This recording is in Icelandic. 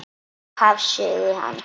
Upphaf sögu hans.